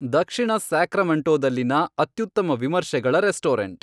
ದಕ್ಷಿಣ ಸ್ಯಾಕ್ರಮೆಂಟೊದಲ್ಲಿನ ಅತ್ಯುತ್ತಮ ವಿಮರ್ಶೆಗಳ ರೆಸ್ಟೋರೆಂಟ್